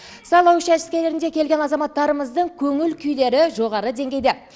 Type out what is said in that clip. сайлау учаскелерінде келген азаматтарымыздың көңіл күйлері жоғары деңгейде